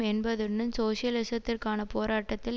என்பதுடன் சோசியலிசத்திற்கான போராட்டத்தில்